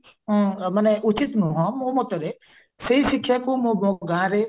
ମାନେ ଉଚିତ ନୁହ ମୋ ମତରେ ସେଇ ଶିକ୍ଷାକୁ ମୋ ଗାଁରେ